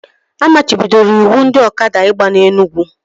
A machibidoro ịwụ ndị ọkada ịgba na Enugwu